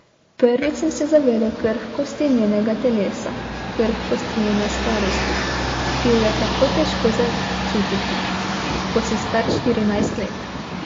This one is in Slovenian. Prvič sem se zavedel krhkosti njenega telesa, krhkosti njene starosti, ki jo je tako težko začutiti, ko si star štirinajst let.